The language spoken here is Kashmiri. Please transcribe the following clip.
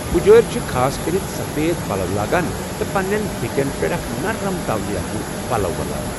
پُزٲرۍ چھِ خاصكرِتھ سفید پلو لاگان تہٕ پنٛنٮ۪ن پھیٚکٮ۪ن پٮ۪ٹھ اکھ نرم تولیہ ہیُو پلو ولان۔